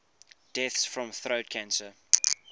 deaths from throat cancer